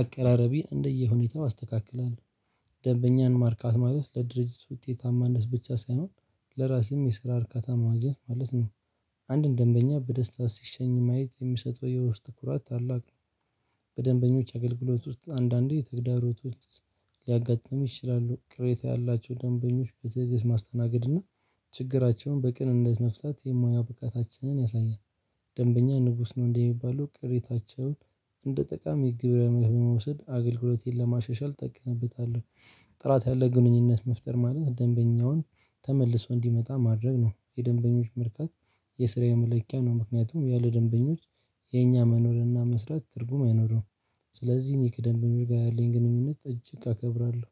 አቀራረቤን እንደየሁኔታው አስተካክላለሁ። ደንበኛን ማርካት ማለት ለድርጅት ውጤታማነት ብቻ ሳይሆን ለራሴም የስራ እርካታ ማግኘት ማለት ነው። አንድን ደንበኛ በደስታ ሲሸኝ ማየት የሚሰጠው የውስጥ ትኩራት ታላቅ ነው። በደንበኞች አገልግሎት ውስጥ አንዳንዴ ተግዳሮት ውስጥ ሊያጋጥም ይችላሉ ቅሬታ ያላቸው ደንበኞች በትዕግሥት ማስተናገድ እና ችግራቸውን በቅንነት መፍታት የሙያ ብቃታችንን ያሳያል። ደንበኛ ንጉስ ነው እንደሚባለው ቅሬታቸውን እንደ ጠቃሚ ግብረ መልስ በመውሰድ አገልግሎቴን ለማሸሻል እጠቀመበታለሁ። ጥራት ያለ ግንኙነት መፍጠር ማለት ደንበኛውን ተመልሶ እንዲመጣ ማድረግ ነው። የደንበኞች መርካት የስራ የመለኪያ ነው ምክንያቱም ያሉ ደንበኞች የኛ መኖርና መስራት ትርጉም አይኖርም። ስለዚህ እኔ ከደንበኞች ጋር ጋር ያለኝን ግንኙነት እጅግ አከብራለሁ